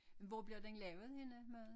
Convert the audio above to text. Hvor bliver den lavet henne maden